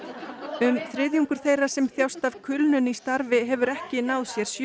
um þriðjungur þeirra sem þjást af kulnun í starfi hefur ekki náð sér sjö